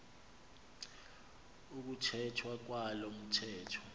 ukuthethwa kwalo mthetho